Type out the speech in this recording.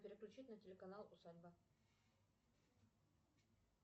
переключить на телеканал усадьба